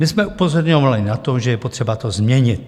My jsme upozorňovali na to, že je potřeba to změnit.